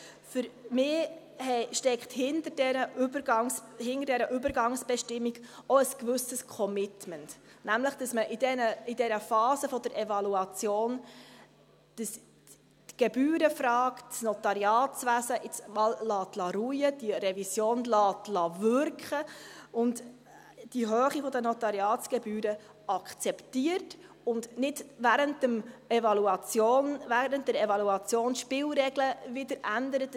Für mich steckt hinter dieser Übergangsbestimmung auch ein gewisses Commitment, nämlich, dass man in dieser Phase der Evaluation die Gebührenfrage und das Notariatswesen jetzt einmal ruhen lässt, die Revision wirken lässt und die Höhe der Notariatsgebühren akzeptiert und nicht während der Evaluation die Spielregeln ändert.